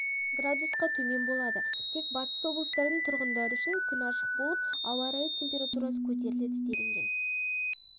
градусқа төмен болады тек батыс облыстардың тұрғындары үшін күн ашық болып ауа температурасы көтеріледі делінген